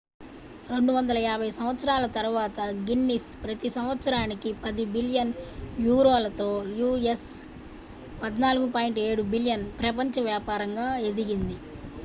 250 సంవత్సరాల తరువాత గిన్నిస్ ప్రతి సంవత్సరానికి 10 బిలియన్ యూరోలతో us$ 14.7 బిలియన్ ప్రపంచ వ్యాపారంగా ఎదిగింది